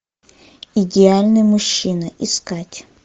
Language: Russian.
идеальный мужчина искать